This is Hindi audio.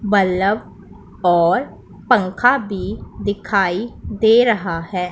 बल्लभ और पंखा भी दिखाई दे रहा है।